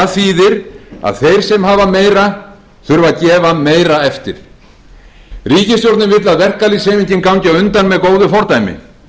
þýðir að þeir sem hafa meira þurfa að gefa meira eftir ríkisstjórnin vill að verkalýðshreyfingin gangi á undan með góðu fordæmi